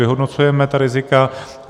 Vyhodnocujeme ta rizika.